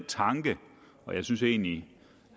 tanke og jeg synes egentlig